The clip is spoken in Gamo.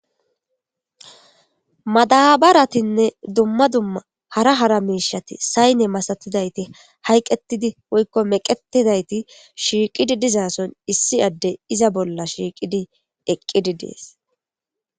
Madabaratinne dumma dumma hara hara miishati sayne masatidayti hayqetidi woykko meqetidayti shiiqidi dizaason issi adde iza bolla shiiqidi eqqidi dees.